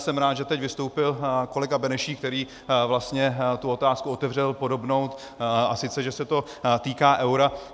Jsem rád, že teď vystoupil kolega Benešík, který vlastně tu otázku otevřel podobnou, a sice že se to týká eura.